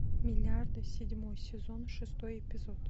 миллиарды седьмой сезон шестой эпизод